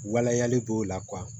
Waleyali b'o la